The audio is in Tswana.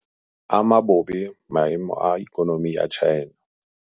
Ama bobe maemo a ikonomi ya China.